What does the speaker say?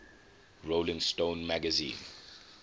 rolling stone magazine